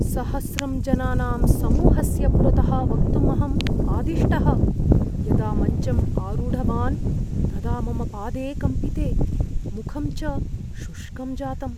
सहस्रं जनानां समूहस्य पुरतः वक्तुम् अहं आदिष्टः। यदा मञ्चम् आरूढवान् तदा मम पादे कम्पिते, मुखं च शुष्कं जातम्।